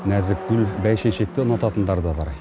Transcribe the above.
нәзік гүл бәйшешекті ұнататындар да бар